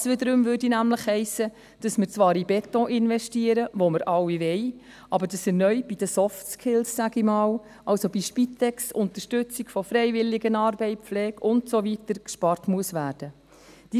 Das wiederum hiesse, dass wir zwar in Beton investieren, den wir alle wollen, dass aber erneut bei den Softskills, sage ich einmal, also bei der Spitex, der Unterstützung von Freiwilligenarbeit, der Pflege und so weiter gespart werden muss.